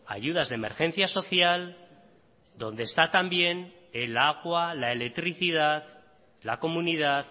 ayudas de emergencia social donde está también el agua la electricidad la comunidad